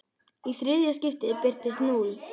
Í þriðja skiptið birtist núll.